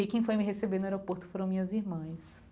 E quem foi me receber no aeroporto foram minhas irmãs.